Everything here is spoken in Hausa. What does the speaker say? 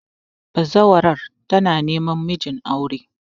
bazawarar tana neman mijin aure